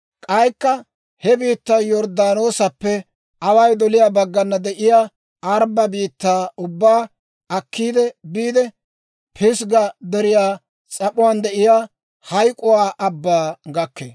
K'aykka he biittay Yorddaanoosappe away doliyaa baggana de'iyaa Aaraba biittaa ubbaa akkiide biide, Pisgga Deriyaa s'ap'uwaan de'iyaa Hayk'k'uwaa Abbaa gakkee.